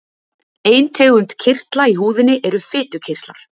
Ein tegund kirtla í húðinni eru fitukirtlar.